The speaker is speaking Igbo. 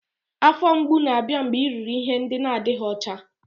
Afọ mgbu na-abịa mgbe i riri ihe n'adịghị ọcha